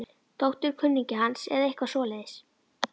Dóttir kunningja hans eða eitthvað svoleiðis.